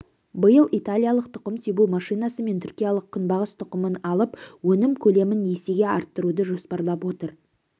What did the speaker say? биыл италиялық тұқым себу машинасы мен түркиялық күнбағыс тұқымын алып өнім көлемін есеге арттыруды жоспарлап отыр